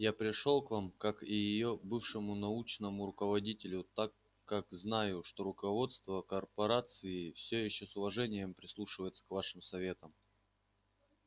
я пришёл к вам как и её бывшему научному руководителю так как знаю что руководство корпорации всё ещё с уважением прислушивается к вашим советам